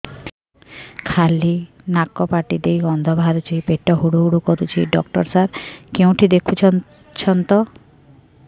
ଖାଲି ନାକ ପାଟି ଦେଇ ଗଂଧ ବାହାରୁଛି ପେଟ ହୁଡ଼ୁ ହୁଡ଼ୁ କରୁଛି ଡକ୍ଟର ସାର କେଉଁଠି ଦେଖୁଛନ୍ତ